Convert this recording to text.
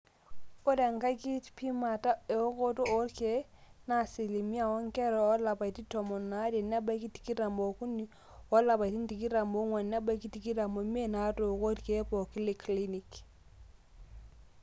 ore enkai kipimata eokoto oorkeek naaasilimia oonkera oolapaitin tomon aare nebaiki tikitam ookuni olapaitin tikitam oong'wan nebaiki tikitam oimiet naatooko irkee pooki le clinic